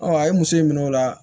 a ye muso in minɛ o la